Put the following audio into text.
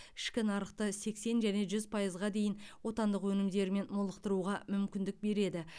ішкі нарықты сексен және жүз пайызға дейін отандық өнімдермен молықтыруға мүмкіндік береді